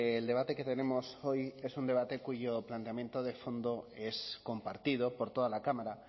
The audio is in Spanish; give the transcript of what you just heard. el debate que tenemos hoy es un debate cuyo planteamiento de fondo es compartido por toda la cámara